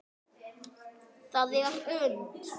Það er unnt.